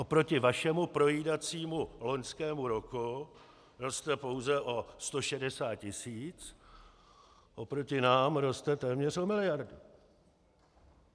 Proti vašemu projídacímu loňskému roku roste pouze o 160 tisíc, proti nám roste téměř o miliardu.